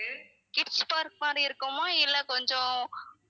kids park மாதிரி இருக்குமா இல்ல கொஞ்சம்